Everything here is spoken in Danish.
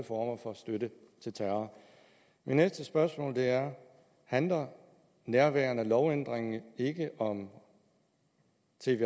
former for støtte til terror mit næste spørgsmål er handler nærværende lovændring ikke om